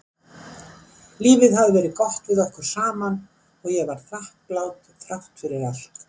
Lífið hafði verið gott við okkur saman og ég var þakklát þrátt fyrir allt.